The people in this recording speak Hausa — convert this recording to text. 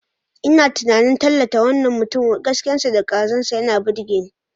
Ina tunanin tallata wannan mutumin, gaskiyarsa da kwazonsa yana burge ni.